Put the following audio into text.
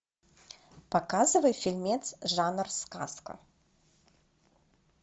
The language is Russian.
показывай фильмец жанр сказка